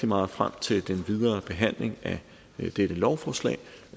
meget frem til den videre behandling af dette lovforslag